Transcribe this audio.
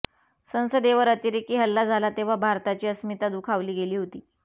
संसदेवर अतिरेकी हल्ला झाला तेव्हा भारताची अस्मिता दुखावली गेली होती